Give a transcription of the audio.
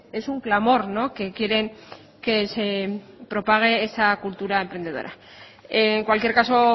es un clamor que quieren que se propague esa cultura emprendedora en cualquier caso